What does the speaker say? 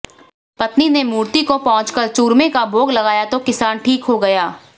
पत्नी ने मूर्ति को पोंछकर चूरमे का भाेग लगाया तो किसान ठीक हो गया